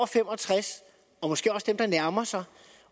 fem og tres og måske også dem der nærmer sig